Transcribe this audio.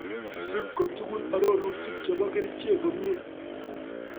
Isub kotugul arorutik chebo kerichek komie